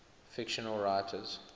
fictional writers